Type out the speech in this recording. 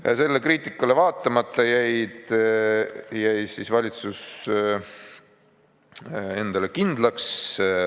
Ja kriitikale vaatamata jäi valitsus endale kindlaks.